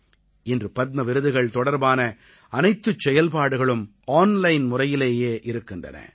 இன்று பத்ம விருதுகள் தொடர்பான அனைத்துச் செயல்பாடுகளும் ஆன்லைன் முறையிலேயே இருக்கின்றன